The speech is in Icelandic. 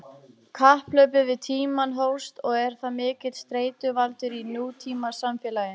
Kapphlaupið við tímann hófst og er það mikill streituvaldur í nútímasamfélagi.